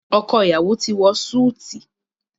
ọkọ iyawo ti wọ Súìtì